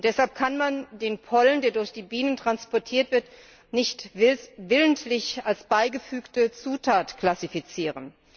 Deshalb kann man den Pollen, der durch die Bienen transportiert wird, nicht als willentlich beigefügte Zutat klassifizieren.